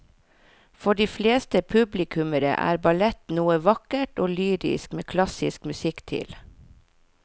For de fleste publikummere er ballett noe vakkert og lyrisk med klassisk musikk til.